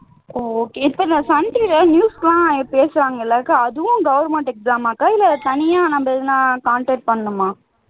ஓ okay இப்ப நான் Sun டிவில news எல்லாம் பேசுவாங்க இல்லக்கா அதுவும் government exam ஆ அக்கா இல்லை தனியா ஏதாவது contact பண்ணனுமா